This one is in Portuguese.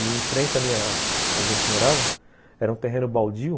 E em frente a minha... onde a gente morava, era um terreno baldio.